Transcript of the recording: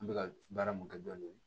An bɛ ka baara mun kɛ dɔɔnin